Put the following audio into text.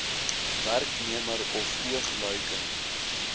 werknemer of oogluikend